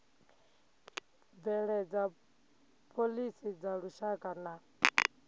bveledza phoḽisi dza lushaka na